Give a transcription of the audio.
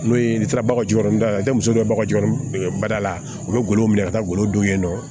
N'o ye n'i taara bagaji la i tɛ muso dɔ baga jikɔrɔba la u bɛ golo minɛ ka taa golo don yen nɔ